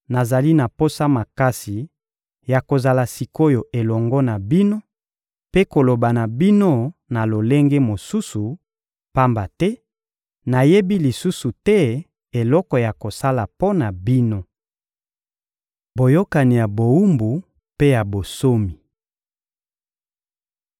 Nazali na posa makasi ya kozala sik’oyo elongo na bino mpe koloba na bino na lolenge mosusu, pamba te nayebi lisusu te eloko ya kosala mpo na bino! Boyokani ya bowumbu mpe ya bonsomi